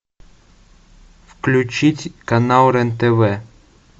включить канал рен тв